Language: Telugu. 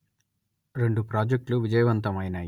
రెండు ప్రాజెక్ట్లు విజయవంతం అయినాయి